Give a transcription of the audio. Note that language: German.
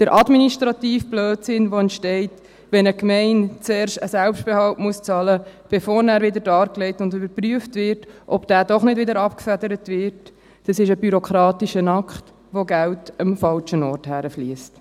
Der administrative Blödsinn, der entsteht, wenn eine Gemeinde zuerst einen Selbstbehalt zahlen muss, bevor nachher wieder dargelegt und überprüft wird, ob dieser nicht doch wieder abgefedert wird, ist ein bürokratischer Akt, bei dem Geld an den falschen Ort fliesst.